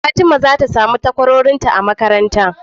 fatima zata samu takwarorinta a makaranta